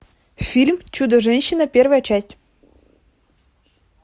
фильм чудо женщина первая часть